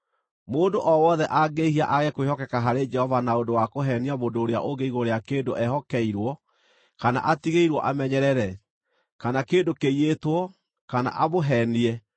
“Mũndũ o wothe angĩĩhia aage kwĩhokeka harĩ Jehova na ũndũ wa kũheenia mũndũ ũrĩa ũngĩ igũrũ rĩa kĩndũ ehokeirwo kana atigĩirwo amenyerere, kana kĩndũ kĩiyĩtwo, kana amũheenie,